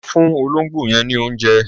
Lọ fún olóńgbò yẹn ní oúnjẹ.